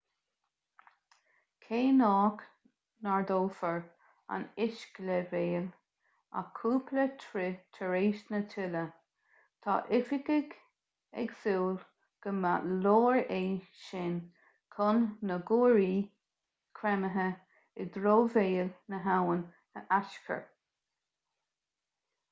cé nach n-ardófar an uisceleibhéal ach cúpla troith tar éis na tuile tá oifigigh ag súil go mba leor é sin chun na guairí creimthe i dtreo bhéal na habhann a aischur